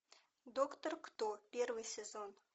доктор кто первый сезон